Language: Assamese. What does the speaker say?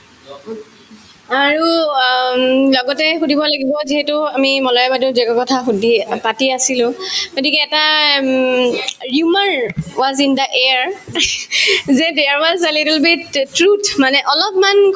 আৰু অ উম লগতে সুধিব লাগিব যিহেতু আমি মলয়া বাইদেউক যিটো কথা সুধি অ পাতি আছিলো গতিকে এটা um was in the air যে there was a little beat mythology truth মানে অলপমান